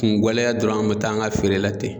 Kun guwɛlɛya dɔrɔn an mɛ taa an ka feere la ten.